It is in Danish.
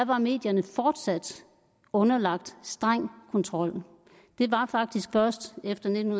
var medierne fortsat underlagt streng kontrol det var faktisk først efter nitten